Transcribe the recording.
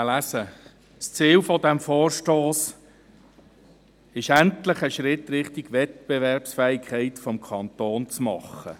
Sein Ziel ist es, endlich einen Schritt in Richtung Wettbewerbsfähigkeit des Kantons zu machen.